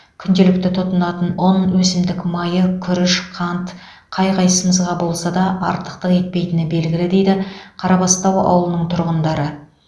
күнделікті тұтынатын ұн өсімдік майы күріш қант қай қайсымызға болса да артықтық етпейтіні белгілі дейді қарабастау ауылының тұрғындары